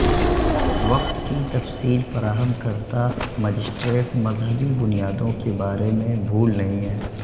وقت کی تفصیل فراہم کرتا مجسٹریٹ مذہبی بنیادوں کے بارے میں بھول نہیں ہے